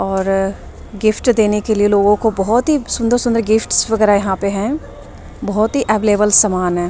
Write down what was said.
और गिफ्ट देने के लिए लोगों को बहुत ही सुंदर सुंदर गिफ्ट्स वगैरह यहां पे हैं बहुत ही अवेलेबल सामान है।